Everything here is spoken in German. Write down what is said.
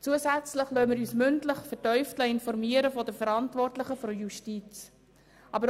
Zusätzlich lassen wir uns durch die Verantwortlichen der Justiz mündlich vertieft informieren.